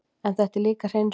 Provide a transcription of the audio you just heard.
En þetta er líka hreinsun.